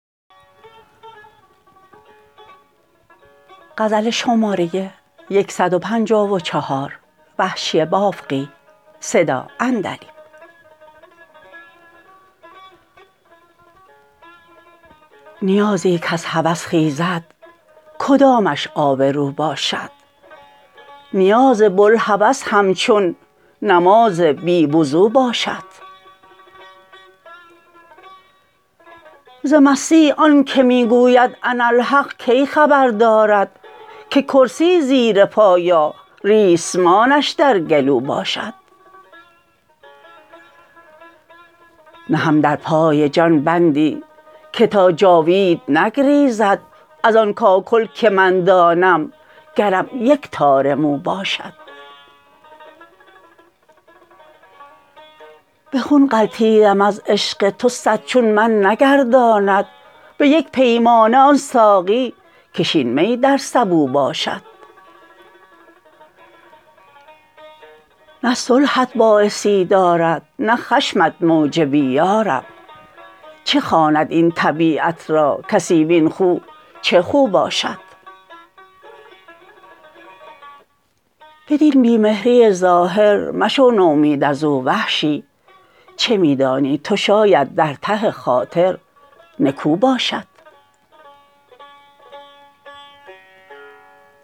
نیازی کز هوس خیزد کدامش آبرو باشد نیاز بلهوس همچون نماز بی وضو باشد ز مستی آنکه می گوید اناالحق کی خبر دارد که کرسی زیر پا یا ریسمانش در گلو باشد نهم در پای جان بندی که تا جاوید نگریزد از آن کاکل که من دانم گرم یک تار مو باشد به خون غلتیدم از عشق تو سد چون من نگرداند به یک پیمانه آن ساقی کش این می در سبو باشد نه صلحت باعثی دارد نه خشمت موجبی یارب چه خواند این طبیعت را کسی وین خو چه خو باشد بدین بی مهری ظاهر مشو نومید ازو وحشی چه می دانی توشاید در ته خاطر نکو باشد